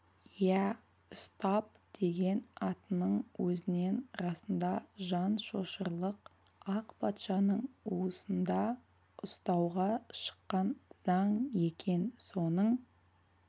иә ұстап деген атының өзінен расында жан шошырлық ақ патшаның уысында ұстауға шыққан заң екен соның